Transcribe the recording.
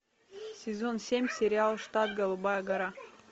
сезон семь сериал штат голубая гора